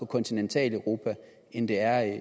kontinentaleuropa end de er